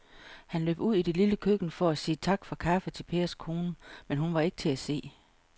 Han løb ud i det lille køkken for at sige tak for kaffe til Pers kone, men hun var ikke til at se.